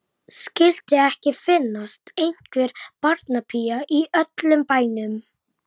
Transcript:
Að sigra mann í krók var í sjálfu sér list.